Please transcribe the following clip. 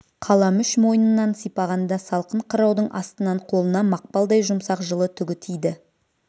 қаламүш мойнынан сипағанда салқын қыраудың астынан қолына мақпалдай жұмсақ жылы түгі тиді